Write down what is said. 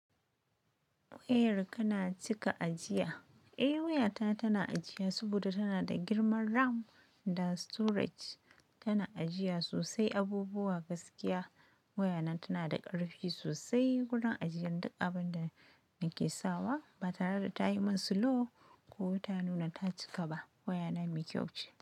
Wayarka na cika ajiya? Eh wayata tana ajiya saboda tana da girman RAM da storage. Tana ajiya sosai abubuwa gaskiya. Wayana tana da ƙarfi sosai gurin ajiyar duk abin da nake sawa ba tare da tayi min slow ko ta nuna ta cika ba. Wayana me kyau ce.